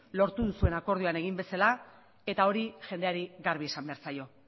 lortu duzuen akordioan egin bezala eta hori jendeari garbi esan behar zaio